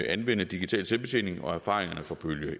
anvende digital selvbetjening og erfaringerne fra bølge